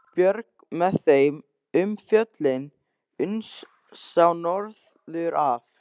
Björg með þeim um fjöllin uns sá norður af.